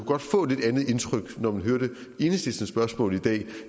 godt få et lidt andet indtryk når man hører enhedslistens spørgsmål i dag